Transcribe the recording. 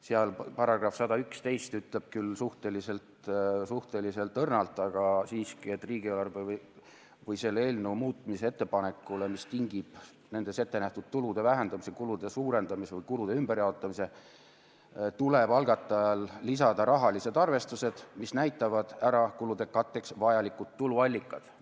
Selle § 116 ütleb küll suhteliselt õrnalt, aga siiski, et riigieelarve või selle eelnõu muutmise ettepanekule, mis tingib nendes ettenähtud tulude vähendamise, kulude suurendamise või kulude ümberjaotamise, tuleb algatajal lisada rahalised arvestused, mis näitavad ära kulude katteks vajalikud tuluallikad.